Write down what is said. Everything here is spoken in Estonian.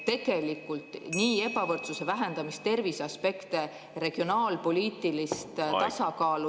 Tegelikult nii ebavõrdsuse vähendamist, terviseaspekte, regionaalpoliitilist tasakaalu ...